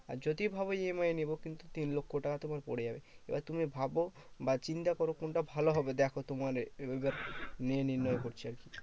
আর যদি ভাবো EMI এ নেবো, কিন্তু তিন লক্ষ্য তোমার পরে যাবে। এবার তুমি ভাবো বা চিন্তা করো কোনটা ভালো হবে দেখো তোমার নিয়ে নির্ণয় করছে।